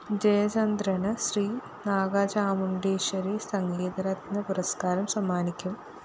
ജയചന്ദ്രന് ശ്രീ നാഗചാമുണ്ടേശരി സംഗീതരത്‌ന പുരസ്‌കാരം സമ്മാനിക്കും